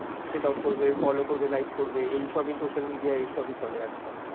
checkout করবে follow like করবে এইসব ই social media এইসবই চলে আজ কাল